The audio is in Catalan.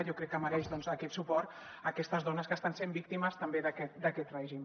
jo crec que mereixen aquest suport aquestes dones que estan sent víctimes també d’aquest règim